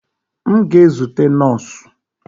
M ga-ezute nọọsụ.